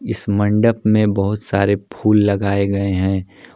इस मंडप में बहुत सारे फूल लगाए गए हैं।